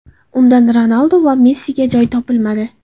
Undan Ronaldu va Messiga joy topilmadi !